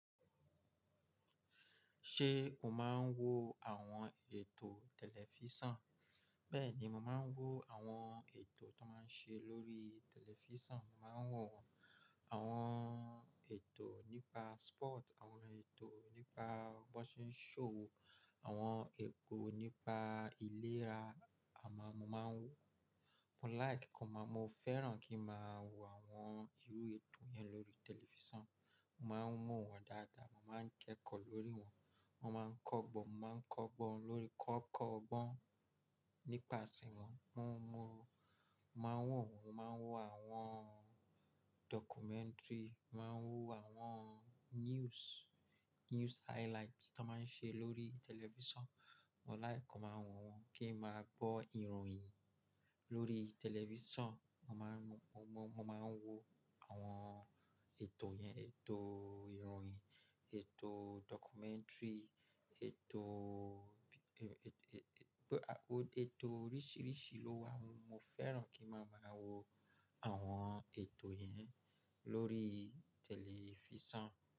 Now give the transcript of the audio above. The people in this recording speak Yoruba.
Ṣé o máa ń wo àwọn ètò tẹlifísàn? Bẹ́ẹ̀ni, mo máa ń wo àwọn ètò tó máa ń ṣe lórí tẹlifísàn. Mo máa ń wo àwọn ètò nípa sport, àwọn ètò nípa boxing show, àwọn ètò nípa ìlera àwọn ni mo máa ń wo. Mo like, mo fẹ́ràn kí ń máa wo àwọn irú ètò yẹn lórí tẹlifísàn. Mo máa ń wo wọn dáadáa, mo máa ń kẹ́kọ̀ọ́ lórí wọn, mo máa ń kọ́gbọ́n, mo máa ń kọ́gbọ́n lórí ká kọ́ ọgbọ́n nípasẹ̀ wọn. Mo máa ń wo àwọn documentary, mo màá wo àwọn news, news highlights tí wọ́n máa ń ṣe lórí tẹlifísàn. Mo like ki n máa wo wọn kí ń máa gbọ́ ìròyìn lórí tẹlifísàn. Mo máa ń wo àwọn ètò yẹn, ètò ìròyìn, ètò documentary, ètò, ètò oríṣìíríṣìí ló wà. Mo fẹ́ràn kí ń máa wo àwọn ètò yẹn lórí tẹlifísàn.